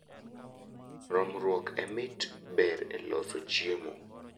Romruok e mit ber e loso chiemo